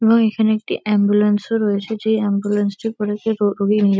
এবং এখানে একটি এম্বুলেন্স -ও রয়েছে যে এম্বুলেন্স -টি করে --